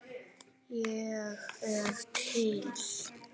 Ég er til